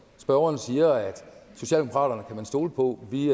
spørgeren siger at socialdemokraterne kan man stole på vi